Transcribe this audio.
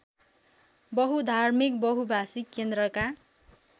बहुधार्मिक बहुभाषिक केन्द्रका